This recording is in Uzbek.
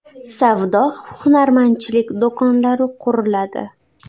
Savdo-hunarmandchilik do‘konlari quriladi.